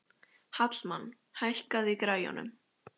Hallmann, hækkaðu í græjunum.